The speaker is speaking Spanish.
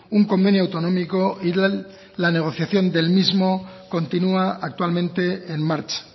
un convenio autonómico y la negociación del mismo continúa actualmente en marcha